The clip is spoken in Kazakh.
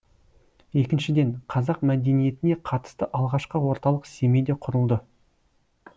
екіншіден қазақ мәдениетіне қатысты алғашқы орталық семейде құрылды